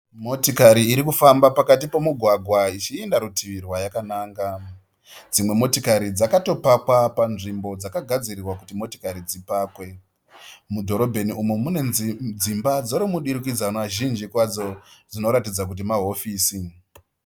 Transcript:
Motikari iri kufamba pakati pemugwagwa ichienda rutivi rwayakananga. Dzimwe motikari dzakatopakapanzvimbo padzakagadzirirwa kuti motokari dzipakwe. Mudhorobheni umu mune dzimba zhinji dzemudurikidzwana zhinji kwazvo dzinoratidza kuti mahofisi.